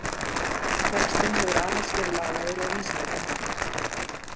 Textinn hefur aðeins verið lagaður að Vísindavefnum.